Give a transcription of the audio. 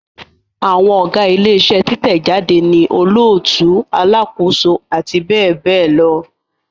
Àwọn Ọ̀gá ilé iṣẹ́ títẹ̀ jáde ni olóòtú, alákòóso àti bẹ́ẹ̀ bẹ́ẹ̀ lọ